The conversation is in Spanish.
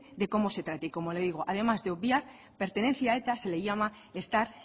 de cómo se trate y como le digo además de obviar pertenecer a eta se le llama estar